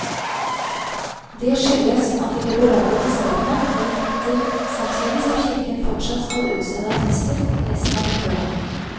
Det skyldes at de liberale biskopene har gitt etter samtidig som kirken fortsatt skal utstede attester resten av dette året.